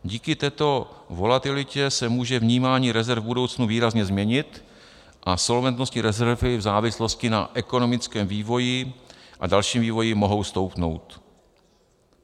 Díky této volatilitě se může vnímání rezerv v budoucnu výrazně změnit a solventnostní rezervy v závislosti na ekonomickém vývoji a dalším vývoji mohou stoupnout.